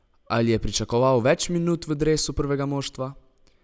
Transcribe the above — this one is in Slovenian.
Ali je pričakoval več minut v dresu prvega moštva?